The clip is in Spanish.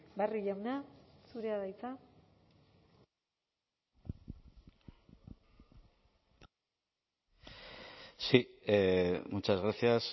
barrio jauna zurea da hitza sí muchas gracias